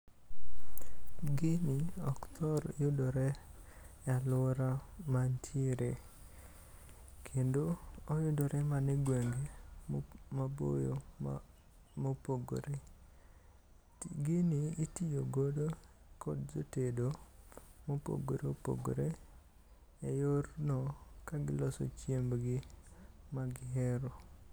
Gini ok thor yudore e aluora ma antiere kendo oyudore mana e gwenge maboyo ma, mopogore. Gini itiyo godo kod jotedo mopogore opogore e yorno kagiloso chiembgi ma gihero